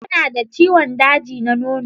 Tana da ciwon daji na nono.